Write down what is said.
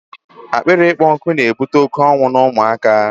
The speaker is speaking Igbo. Akpịrị ịkpọ nkụ na ebute oké ọnwụ n'ụmụ aka